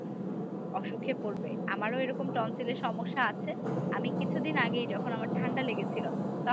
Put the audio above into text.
অসুখে পরবে আমারো এরকম tonsil এ সমস্যা আছে আমি কিছুদিন আগেই যখন আমার ঠান্ডা লেগেছিল তখন